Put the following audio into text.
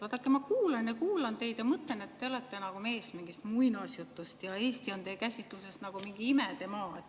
Vaadake, ma kuulan ja kuulan teid ja mõtlen, et te olete nagu mees mingist muinasjutust ja Eesti on teie käsitluses nagu mingi imedemaa.